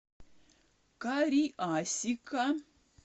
кариасика